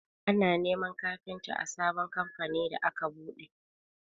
Ana neman kafinta a sabon kamfanin da aka buɗe.